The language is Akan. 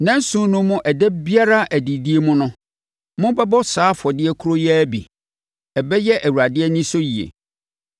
Nna nson no mu ɛda biara adidie mu no, mobɛbɔ saa afɔdeɛ korɔ yi ara bi. Ɛbɛyɛ Awurade anisɔ yie.